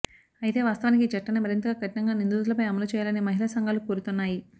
అయితే వాస్తవానికి ఈ చట్టాన్ని మరింతగా కఠినంగా నిందితులపై అమలు చెయ్యాలని మహిళా సంఘాలు కోరుతున్నాయి